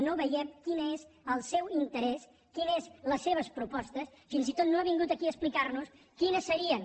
no veiem quin és el seu interès quines són les seves propostes fins i tot no ha vingut aquí a explicar nos quines serien